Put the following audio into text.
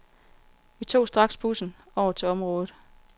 Vi tog straks bussen over til området.